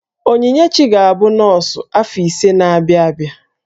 Onyinyechi ga-abụ nọọsụ afọ ise na-abịa abịa